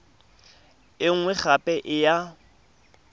e nngwe gape e ya